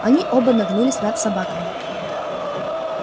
они оба нагнулись над собаками